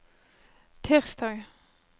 tirsdag